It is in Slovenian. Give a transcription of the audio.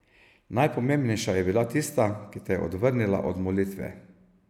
Najpomembnejša je bila tista, ki te je odvrnila od molitve.